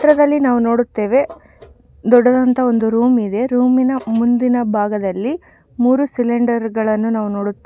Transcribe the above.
ಈ ಚಿತ್ರದಲ್ಲಿ ನಾವು ನೋಡುತ್ತೇವೆ ದೊಡ್ಡದಾದಂತಹ ಒಂದು ರೂಮ್ ಇದೆ ರೂಮಿನ ಮುಂದಿನ ಭಾಗದಲ್ಲಿ ಮೂರು ಸಿಲಿಂಡರ್ ಗಳನ್ನು ನಾವು ನೋಡುತ್ತೇವೆ .